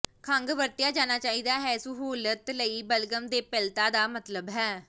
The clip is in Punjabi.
ਖੰਘ ਵਰਤਿਆ ਜਾਣਾ ਚਾਹੀਦਾ ਹੈ ਦੀ ਸਹੂਲਤ ਲਈ ਬਲਗਮ ਦੇਪਤਲਾ ਦਾ ਮਤਲਬ ਹੈ